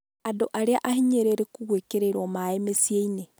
Andũ arĩa ahinyĩrĩrĩku gwĩkĩrĩrwo maĩ mĩciĩ-inĩ.